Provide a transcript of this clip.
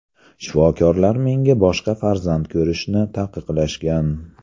Shifokorlar menga boshqa farzand ko‘rishni taqiqlashgan.